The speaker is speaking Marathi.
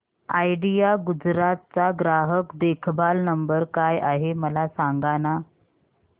आयडिया गुजरात चा ग्राहक देखभाल नंबर काय आहे मला सांगाना